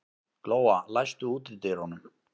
Glóa, læstu útidyrunum.